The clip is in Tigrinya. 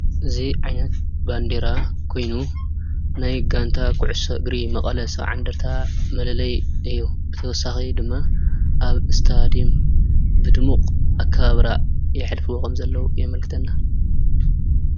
እዚ ዓይነት ባንዴራ ኾይኑ ናይ ጋንታ ኩዕሶ እግሪ መቐለ 70 እንደርታ መለለዪ እዩ፡፡ ብተወሳኺ ድማ ኣብ ስታድዮም ብድሙቕ ኣከባብራ የሕልፉዎ ከምዘለው የምልክትና፡፡